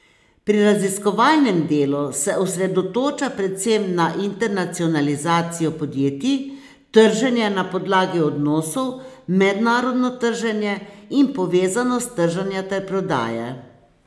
Pri raziskovalnem delu se osredotoča predvsem na internacionalizacijo podjetij, trženje na podlagi odnosov, mednarodno trženje in povezanost trženja ter prodaje.